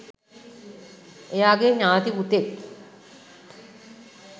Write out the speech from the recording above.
එයාගෙ ඥාති පුතෙක්